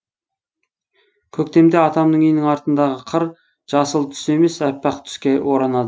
көктемде атамның үйінің артындағы қыр жасыл түс емес әппақ түске оранады